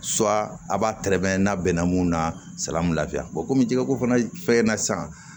a b'a tɛrɛ n'a bɛnna mun na salafiya bɔ komi jɛgɛ ko fana fɛ na sisan